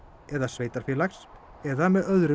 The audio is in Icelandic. eða sveitarfélags eða með öðrum